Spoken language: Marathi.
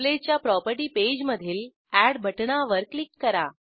टेंप्लेटच्या प्रॉपर्टी पेजमधील एड बटणावर क्लिक करा